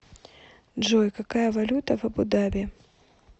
джой какая валюта в абу даби